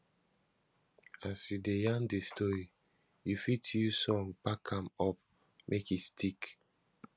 as you de yarn di story you fit use song back am up make e stick